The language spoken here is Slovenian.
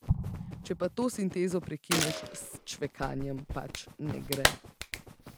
Če pa to sintezo prekineš s čvekanjem, pač ne gre.